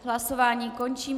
Hlasování končím.